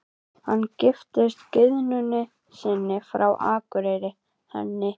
Hann giftist gyðjunni sinni frá Akureyri, henni